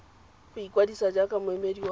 go ikwadisa jaaka moemedi wa